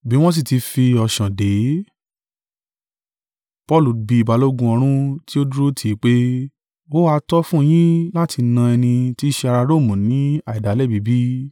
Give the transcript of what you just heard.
Bí wọ́n sí tí fi ọṣán dè é, Paulu bí balógun ọ̀rún tí ó dúró tì í pé, “Ó ha tọ́ fún yín láti na ẹni tí i ṣe ará Romu ni àìdálẹ́bi bí?”